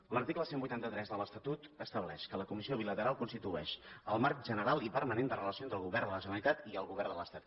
l’article cent i vuitanta tres de l’estatut estableix que la comissió bilateral constitueix el marc general i permanent de relació entre el govern de la generalitat i el govern de l’estat